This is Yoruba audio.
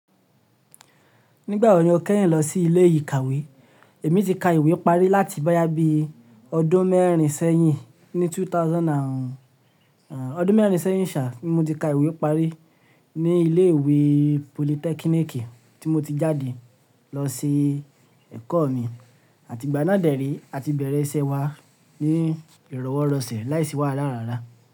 Nígbà wo ni o kẹ́yìn lọ sí ilé ìkàwé? Èmi ti ka ìwé parí láti bóyá bí ọdún mẹ́rin sẹ́yìn, ní 2000 and, ọdún mẹ́rin sẹ́yìn ṣa, ni mo ti ka ìwé parí ní ilé ìwé politẹ́kínìkì tí mo ti jáde lọ sí ẹ̀kọ́ mi àti ìgbà náà dẹ̀ré àti bẹ̀rẹ̀ iṣẹ́ wa ní ìrọ̀wọ́rọ̀sẹ̀ láìsí wàhálà ara.